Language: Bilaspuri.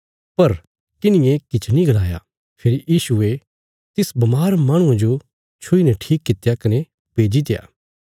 पर किन्हिये किछ नीं गलाया फेरी यीशुये तिस बमार माहणुये जो छुईने ठीक कित्या कने भेजित्या